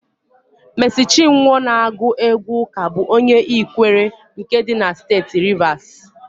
Meesị Chinwọ na-agụ égwú ụ́kà bụ onye Ikwere nke dị na Steeti Rivasi.